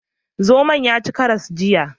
Zomon ya ci karas jiya.